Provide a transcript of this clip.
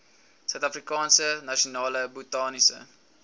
suidafrikaanse nasionale botaniese